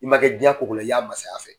I ma kɛ diɲa ko ko la , i y'a mansaya fɛ.